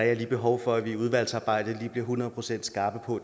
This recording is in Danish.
jeg lige behov for at vi i udvalgsarbejdet bliver hundrede procent skarpe på